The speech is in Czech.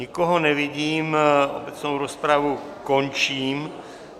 Nikoho nevidím, obecnou rozpravu končím.